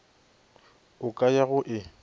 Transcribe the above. o ka ya go e